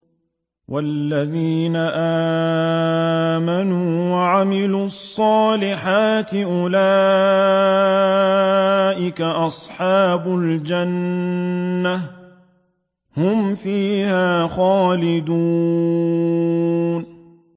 وَالَّذِينَ آمَنُوا وَعَمِلُوا الصَّالِحَاتِ أُولَٰئِكَ أَصْحَابُ الْجَنَّةِ ۖ هُمْ فِيهَا خَالِدُونَ